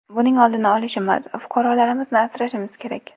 Buning oldini olishimiz, fuqarolarimizni asrashimiz kerak.